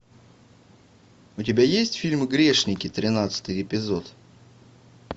у тебя есть фильм грешники тринадцатый эпизод